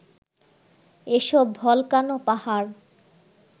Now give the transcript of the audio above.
এসব ভলকানো পাহাড়